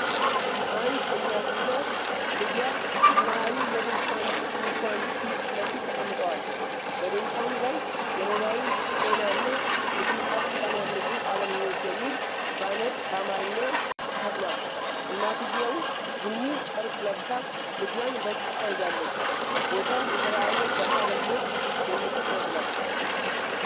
አንድ እናትና ልጇ ሰማያዊ የድንኳን ድንኳን ፊት ለፊት ተቀምጠዋል፣ በድንኳኑ ላይ "የሞባይል ጤና እና የተመጣጠነ ምግብ አገልግሎት" የሚል ባነር በአማርኛ ተሰቅሏል። እናትየው ቡኒ ጨርቅ ለብሳ ልጇን በእቅፏ ይዛለች። ቦታው የሰብዓዊ እርዳታ አገልግሎት የሚሰጥ ይመስላል።